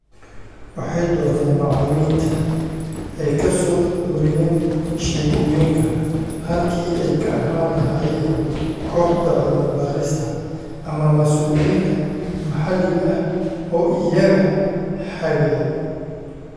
Waxay doorteen macallimiinta ay ka soo ururiyeen sheekooyinka, halkii ay ka ahaan lahaayeen kooxda cilmi-baarista ama mas'uuliyiinta maxalliga ah oo iyaga hagaya.